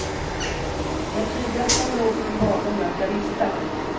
Det jag tydligast kommer ihåg från min barndom är att jag visste allt.